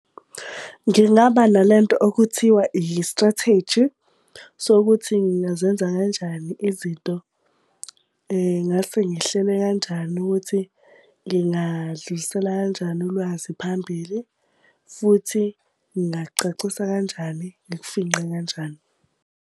Ngingaba nale nto okuthiwa i-strategy sokuthi ngingazenza kanjani izinto, ngingase ngihlele kanjani ukuthi, ngingalidlulisela kanjani ulwazi phambili, futhi ngingacacisa kanjani, ngikufingqe kanjani.